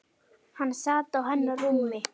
Hann sat á hennar rúmi!